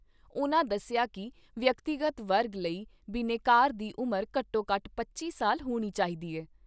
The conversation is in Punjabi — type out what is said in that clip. ਉਨ੍ਹਾਂ ਦੱਸਿਆ ਕਿ ਵਿਅਕਤੀਗਤ ਵਰਗ ਲਈ ਬਿਨੈਕਾਰ ਦੀ ਉਮਰ ਘੱਟੋ ਘੱਟ ਪੱਚੀ ਸਾਲ ਹੋਣੀ ਚਾਹੀਦੀ ਐ।